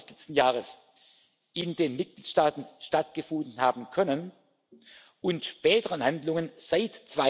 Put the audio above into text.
2. August letzten Jahres in den Mitgliedstaaten stattgefunden haben können, und späteren Handlungen seit